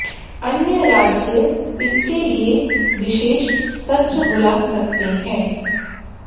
अन्य राज्य इसके लिए विशेष सत्र बुला सकते हैं